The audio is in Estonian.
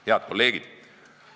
Head kolleegid!